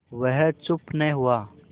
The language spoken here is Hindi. वह चुप न हुआ